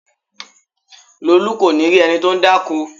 Lolu kò ní rí ẹni tó ń dákó